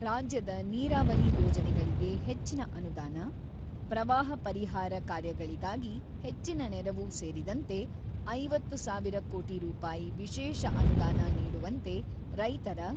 ರಾಜ್ಯದ ನೀರಾವರಿ ಯೋಜನೆಗಳಿಗೆ ಹೆಚ್ಚಿನ ಅನುದಾನ, ಪ್ರವಾಹ ಪರಿಹಾರ ಕಾರ್ಯಗಳಿಗಾಗಿ ಹೆಚ್ಚಿನ ನೆರವು ಸೇರಿದಂತೆ, ಐವತ್ತು ಸಾವಿರ ಕೋಟಿ ರೂಪಾಯಿ ವಿಶೇಷ ಅನುದಾನ ನೀಡುವಂತೆ ರೈತರ